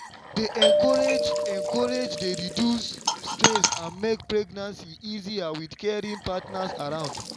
to dey encourage encourage dey reduce stress and make pregnancy easier with caring partners around.